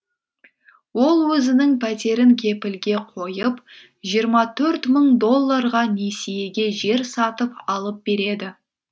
ол өзінің пәтерін кепілге қойып жиырма төрт мың долларға несиеге жер сатып алып береді